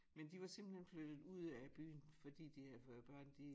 Men de var simpelthen flyttet ud af byen fordi de havde fået børn de